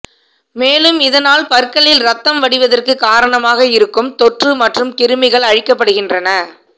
மேலும் இதனால் பற்களில் இரத்தம் வடிவதற்கு காரணமாக இருக்கும் தொற்று மற்றும் கிருமிகள் அழிக்கப்படுகின்றன